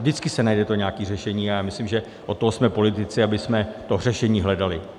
Vždycky se najde to nějaké řešení a já myslím, že od toho jsme politici, abychom to řešení hledali.